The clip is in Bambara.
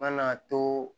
Na too